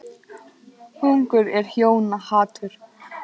Hungur er hjóna hatur.